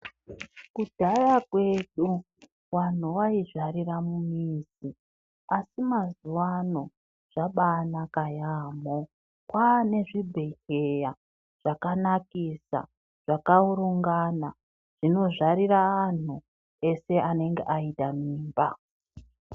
Kudhaya kwedu vanhu vaizvarira mumizi asi mazuwa ano zvabaanaka yaamo. Kwaane zvibhehleya zvakanakisa zvakaurungana zvinozvarira anhu ese anenge aite mimba.